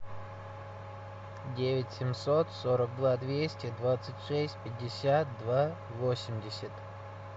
девять семьсот сорок два двести двадцать шесть пятьдесят два восемьдесят